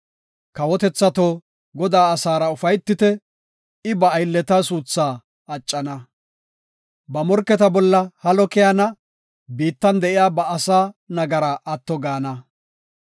Kawotethato, Godaa asaara ufaytite; I ba aylleta suutha accana. Ba morketa bolla halo keyana; biittan de7iya ba asaa nagaraa atto gaana.